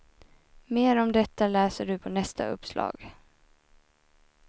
Mer om detta läser du på nästa uppslag.